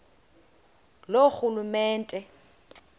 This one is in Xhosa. loorhulumente